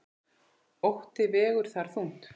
Ótti vegur þar þungt.